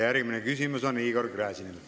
Järgmine küsimus on Igor Gräzinil.